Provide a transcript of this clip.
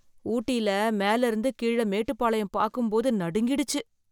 ஊட்டியில மேல இருந்து கீழே மேட்டுப்பாளையம் பாக்கும் போது நடுங்கிடுச்சு